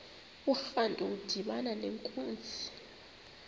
urantu udibana nenkunzi